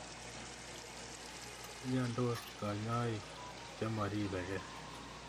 Miandos kanyoiik che moripe kei